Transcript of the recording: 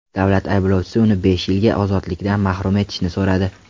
Davlat ayblovchisi uni besh yilga ozodlikdan mahrum etishni so‘radi.